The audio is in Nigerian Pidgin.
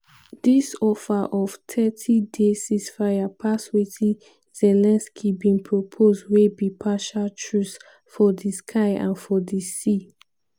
dis offer of 30-day ceasefire pass wetin zelensky bin propose wey be partial truce for di sky and for di sea.